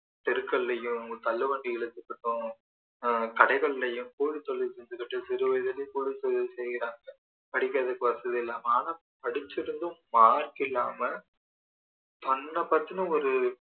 தெருகளிலேயும் தள்ளுவண்டிகள் அஹ் கடைகளிலேயும் கூலி தொழில் செஞ்சிகிட்டு சிறு வயதுலயே கூலி செய்யுறாங்க படிக்கிறதுக்கு வசதி இல்லாம ஆனா படிச்சிருந்தும் mark இல்லாம தன்னை பத்தின ஒரு